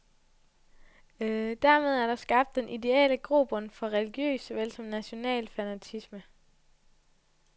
Dermed er der skabt den ideelle grobund for religiøs såvel som national fanatisme.